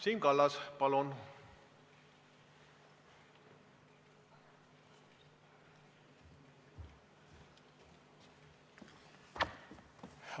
Siim Kallas, palun!